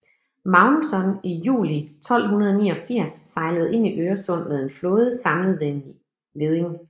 Magnusson i juli 1289 sejlede ind i Øresund med en flåde samlet ved en leding